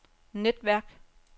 netværk